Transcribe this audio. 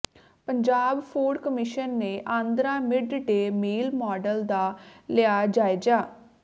Punjab food commission ਨੇ Andhra mid day meal model ਦਾ ਲਿਆ ਜਾਇਜ਼ਾ